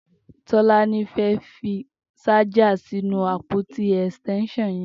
Tolani fẹ́ fi ṣàjà sinú ápótí ẹstẹnṣọn yẹn